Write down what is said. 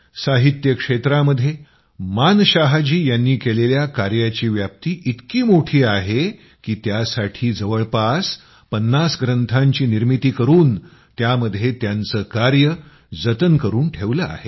साहित्य क्षेत्रामध्ये मानशाह जी यांनी केलेल्या कार्याची व्याप्ती इतकी मोठी आहे की त्यासाठी जवळपास 50 ग्रंथाची निर्मिती करून त्यामध्ये त्यांचे कार्य जतन करून ठेवलं आहे